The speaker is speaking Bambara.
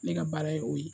Ne ka baara ye o ye